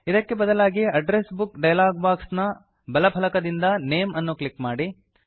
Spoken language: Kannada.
ಇದಕ್ಕೆ ಬದಲಾಗಿ ಅಡ್ರೆಸ್ ಬುಕ್ ಡಯಲಾಗ್ ಬಾಕ್ಸ್ ನ ಬಲ ಫಲಕದಿಂದ ನೇಮ್ ಅನ್ನು ಕ್ಲಿಕ್ ಮಾಡಿ